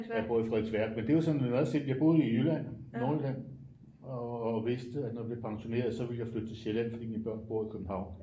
Jeg bor i Frederiksværk men det er jo sådan meget simpelt jeg boede jo i Jylland i Nordjylland og vidste at når jeg blev pensioneret så ville jeg flytte til Sjælland fordi mine børn bor i København